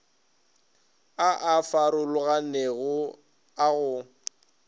a a farologanego a go